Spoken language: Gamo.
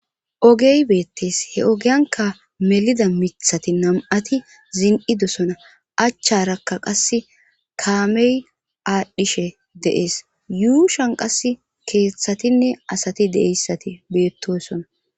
Ogey beettees he ogiyanka melida mithati nam7ati zin7idosona achcharakka qas kaamey aadhdhishe de7ees yuushan qas keeththatinne asati deeyssati beettosona.